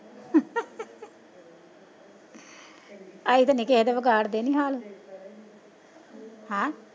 ਅਸੀਂ ਤਾਂ ਨੀ ਕਿਸੇ ਦੇ ਵਿਗਾੜ ਦੇ ਨੀ ਹਾਲ, ਹੈਂ।